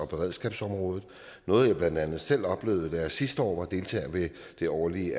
beredskabsområdet noget jeg blandt andet selv oplevede da jeg sidste år var deltager i det årlige